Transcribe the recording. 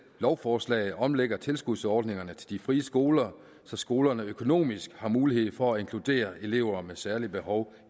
lovforslag omlægger tilskudsordningerne til de frie skoler så skolerne økonomisk har mulighed for at inkludere elever med særlige behov